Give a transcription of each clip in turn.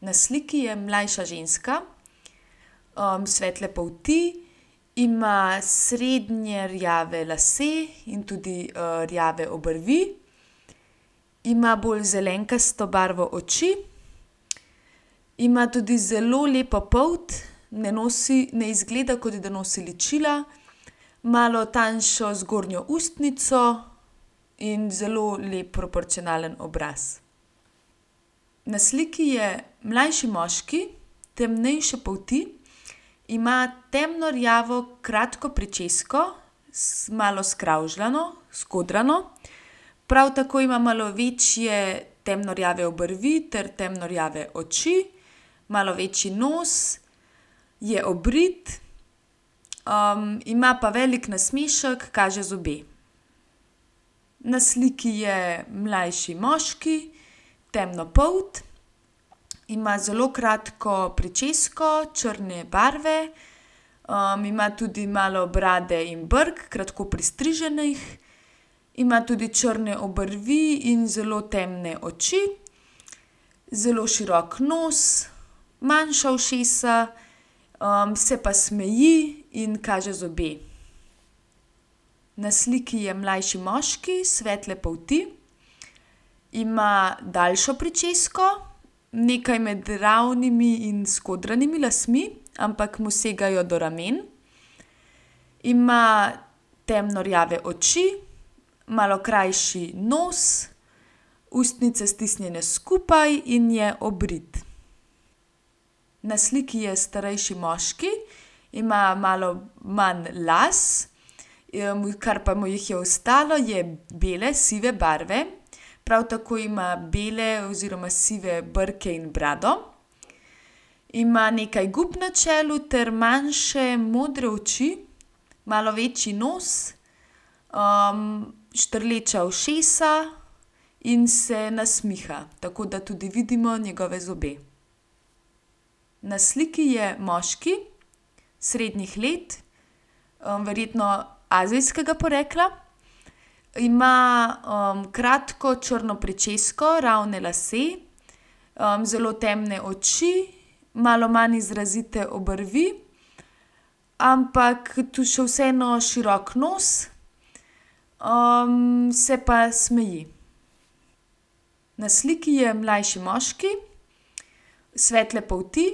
Na sliki je mlajša ženska, svetle polti. Ima srednje rjave lase in tudi, rjave obrvi. Ima bolj zelenkasto barvo oči. Ima tudi zelo lepo polt, ne nosi, ne izgleda, kot da nosi ličila, malo tanjšo zgornjo ustnico in zelo lep proporcionalen obraz. Na sliki je mlajši moški temnejše polti. Ima temno rjavo kratko pričesko, malo skravžano, skodrano. Prav tako ima malo večje temno rjave obrvi ter temno rjave oči, malo večji nos, je obrit, ima pa velik nasmešek, kaže zobe. Na sliki je mlajši moški, temnopolt. Ima zelo kratko pričesko črne barve, ima tudi malo brade in brkov, kratko pristriženih. Ima tudi črne obrvi in zelo temne oči, zelo širok nos, manjša ušesa, se pa smeji in kaže zobe. Na sliki je mlajši moški svetle polti. Ima daljšo pričesko, nekaj med ravnimi in skodranimi lasmi, ampak mu segajo do ramen. Ima temno rjave oči, malo krajši nos, ustnice stisnjene skupaj in je obrit. Na sliki je starejši moški. Ima malo manj las, kar pa mu jih je ostalo, so bele, sive barve. Prav tako ima bele oziroma sive brke in brado. Ima nekaj gub na čelu ter manjše modre oči, malo večji nos, štrleča ušesa in se nasmiha. Tako da tudi vidimo njegove zobe. Na sliki je moški srednjih let, verjetno azijskega porekla. Ima, kratko črno pričesko, ravne lase, zelo temne oči, malo manj izrazite obrvi, ampak to še vseeno širok nos. se pa smeji. Na sliki je mlajši moški svetle polti.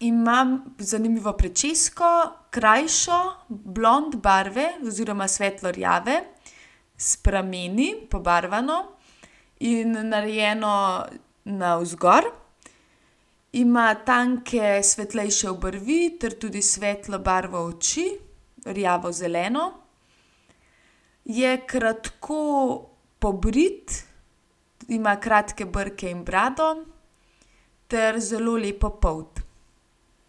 Ima zanimivo pričesko, krajšo, blond barve oziroma svetlo rjave s prameni, pobarvano in narejeno navzgor. Ima tanke svetlejše obrvi ter tudi svetlo barvo oči, rjavozeleno. Je kratko pobrit, ima kratke brke in brado ter zelo lepo polt.